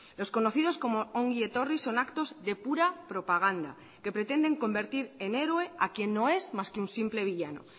los conocidos como ongi etorri son actos de pura propaganda que pretenden convertir en héroe a quién no es más que un simple villano